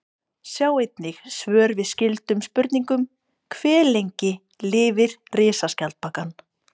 Sjá einnig svör við skyldum spurningum: Hve lengi lifir risaskjaldbakan?